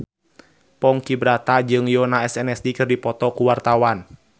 Ponky Brata jeung Yoona SNSD keur dipoto ku wartawan